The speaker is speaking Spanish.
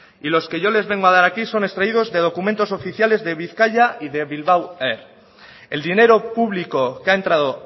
y los que yo les vengo a dar aquí son extraídos de documentos oficiales de bizkaia y de bilbao air el dinero público que ha entrado